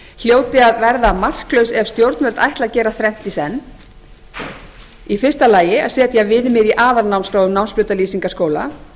hljóti að verða marklaus ef stjórnvöld ætla að gera þrennt í senn í fyrsta lagi að setja viðmið í aðalnámskrá um námsbrautalýsingar skóla